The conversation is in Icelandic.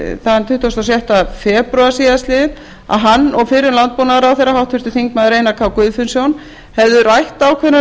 þann tuttugasta og sjötta febrúar síðastliðinn að hann og fyrrum landbúnaðarráðherra háttvirtur þingmaður einar k guðfinnsson hefðu rætt ákveðnar